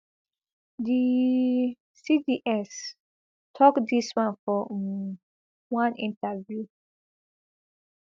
di cds tok dis one for um one interview